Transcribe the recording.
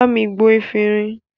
Bámi gbo efinrin!